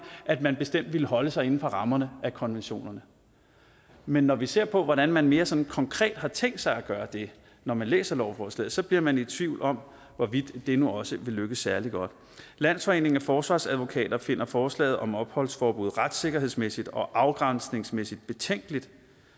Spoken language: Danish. at man bestemt ville holde sig inden for rammerne af konventionerne men når vi ser på hvordan man mere sådan konkret har tænkt sig at gøre det når man læser lovforslaget så bliver man i tvivl om hvorvidt det nu også vil lykkes særlig godt landsforeningen af forsvarsadvokater finder forslaget om opholdsforbud retssikkerhedsmæssigt og afgrænsningsmæssigt betænkeligt